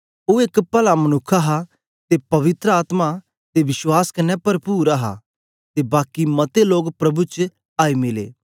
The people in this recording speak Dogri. ओ एक पला मनुक्ख हा ते पवित्र आत्मा ते विश्वास कन्ने परपुर हा ते बाकी मते लोक प्रभु च आई मिले